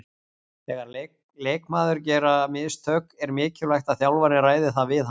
Þegar leikmaður gera mistök er mikilvægt að þjálfarinn ræði það við hann.